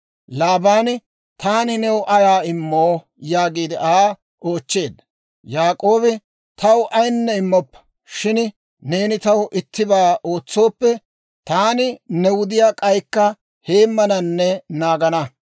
Laabaani, «Taani new ayaa immoo?» yaagiide Aa oochcheedda. Yaak'oobi, «Taw ayinne immoppa; shin neeni taw ittibaa ootsooppe, taani ne wudiyaa k'aykka heemmananne naagana.